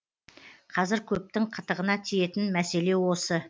қазір көптің қытығына тиетін мәселе осы